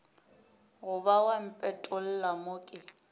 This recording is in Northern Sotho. goba wa mpetolla mo ke